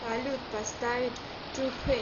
салют поставить ту фит